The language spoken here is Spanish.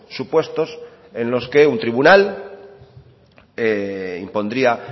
supuestos en los que un tribunal impondría